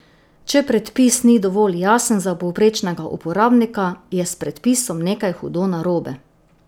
Če predpis ni dovolj jasen za povprečnega uporabnika, je s predpisom nekaj hudo narobe.